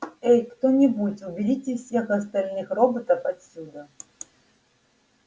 эй кто-нибудь уберите всех остальных роботов отсюда